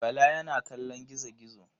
Bala yana kallon gizo-gizo.